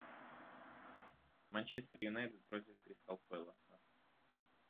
манчестер юнайтед против кристал пэласа